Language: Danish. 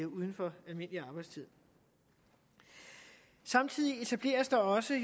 uden for almindelig arbejdstid samtidig etableres der også